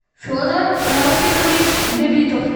федор рафикович габитов